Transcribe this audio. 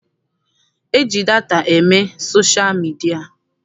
E ji data eme sosha midia.